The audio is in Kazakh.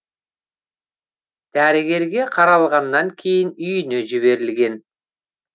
дәрігерге қаралғаннан кейін үйіне жіберілген